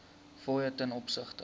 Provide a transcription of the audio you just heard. fooie ten opsigte